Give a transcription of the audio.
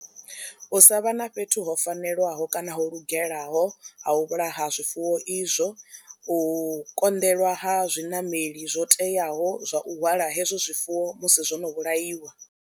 U sa vha na fhethu ho fanelwaho kana ho lugelaho ha u vhulaha zwifuwo izwo u konḓelwa ha zwinameli zwo teaho zwa u hwala hezwo zwifuwo musi zwo no vhulaiwa.